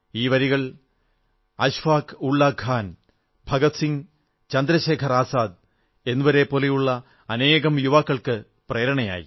ഈ വരികൾ അശ്ഫാക് ഉള്ളാഹ് ഖാൻ ഭഗത് സിംഗ് ചന്ദ്രശേഖർ ആസാദ് എന്നിവരെപ്പോലുള്ള അനേകം യുവാക്കൾക്കു പ്രേരണയായി